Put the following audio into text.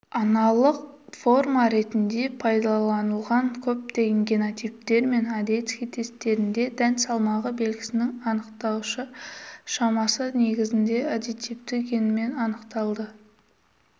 аналық форма ретінде пайдаланылған көптеген генотиптер мен одесский тестерінде дән салмағы белгісінің анықтаушы шамасы негізінде аддитивті генмен анықталды